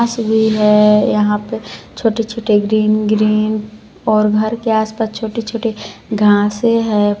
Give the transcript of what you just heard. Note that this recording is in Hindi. घास भी है यहां पे छोटे-छोटे ग्रीन -ग्रीन और घर के आस पास छोटी-छोटी घांसे हैं।